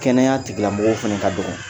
Kɛnɛya tigila mɔgɔw fɛnɛ ka dɔngɔn